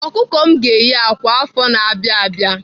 Ọkụkọ m ga-eyi akwa afọ na-abịa abịa.